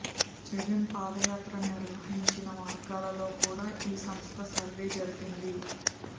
జగన్ పాదయాత్ర నిర్వహించిన మార్గాలలో కూడా ఈ సంస్థ సర్వే జరిపింది